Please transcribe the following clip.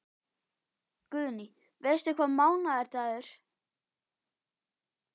Guðný: Veistu hvaða mánaðardagur?